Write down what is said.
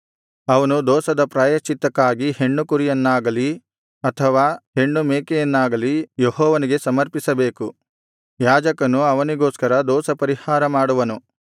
ಅವನು ದೋಷದ ಪ್ರಾಯಶ್ಚಿತ್ತಕ್ಕಾಗಿ ಹೆಣ್ಣು ಕುರಿಯನ್ನಾಗಲಿ ಅಥವಾ ಹೆಣ್ಣು ಮೇಕೆಯನ್ನಾಗಲಿ ಯೆಹೋವನಿಗೆ ಸಮರ್ಪಿಸಬೇಕು ಯಾಜಕನು ಅವನಿಗೋಸ್ಕರ ದೋಷಪರಿಹಾರ ಮಾಡುವನು